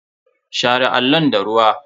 Share allon da ruwa.